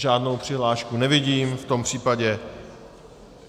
Žádnou přihlášku nevidím, v tom případě...